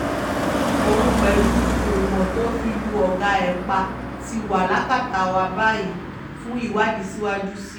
òun pẹ̀lú kùmọ̀ tó fi lu ọ̀gá ẹ̀ pa ti wà lákàtà wa báyìí fún ìwádìí síwájú sí i